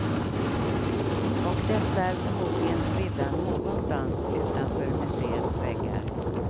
Och dessa är förmodligen spridda någonstans utanför museets väggar.